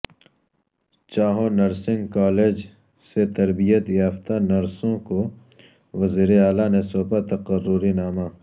Chanho nursing college سے تربیت یافتہ نرسوں کو وزیر اعلی نے سونپا تقرری نامہ